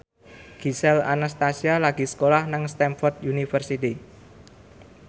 Gisel Anastasia lagi sekolah nang Stamford University